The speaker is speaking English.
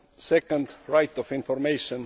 second, right of information